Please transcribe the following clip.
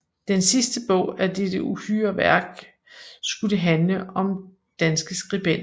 Den sidste bog af dette uhyre værk skulle handle om danske skribenter